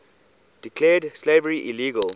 declared slavery illegal